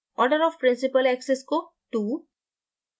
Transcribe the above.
order of principal axis को 2